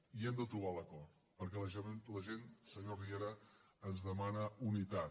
i hem de trobar l’acord perquè la gent senyor riera ens demana unitat